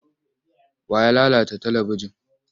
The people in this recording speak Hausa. Wa ya lalata talibijin?